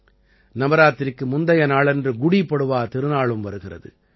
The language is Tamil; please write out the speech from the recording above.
நவராத்திரிக்கு முந்தைய நாளன்று குடீ பட்வா திருநாளும் வருகிறது